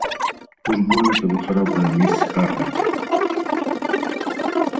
уж больно-то вы храбрая мисс скарлетт